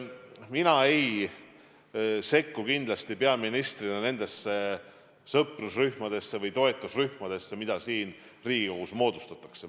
Mina ei sekku kindlasti peaministrina nendesse sõprusrühmadesse või toetusrühmadesse, mida Riigikogus moodustatakse.